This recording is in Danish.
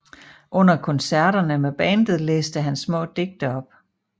Under koncerterne med bandet læste han små digte op